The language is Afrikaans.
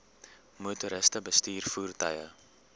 motoriste bestuur voertuie